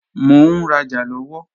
Mò ń rajà lọ́wọ́